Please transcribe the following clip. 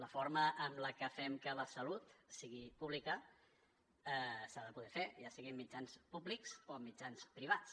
la forma en la que fem que la salut sigui pública s’ha de poder fer ja sigui amb mitjans públics o amb mitjans privats